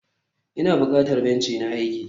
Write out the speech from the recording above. ina bukatan benci na aiki?